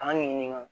An ka ɲɛɲini